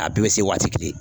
A bɛɛ bɛ se waati kelen